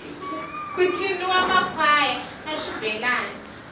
ku ciniwa makhwaya na xibelani